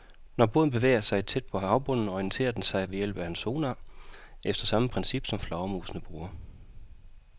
Når båden bevæger sig tæt ved havbunden, orienterer den sig ved hjælp af en sonar efter samme princip, som flagermusene bruger.